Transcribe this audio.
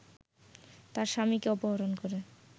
তার স্বামীকে অপহরণ করে